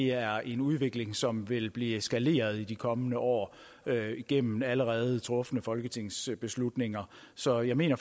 er en udvikling som vil blive eskaleret i de kommende år gennem allerede trufne folketingsbeslutninger så jeg mener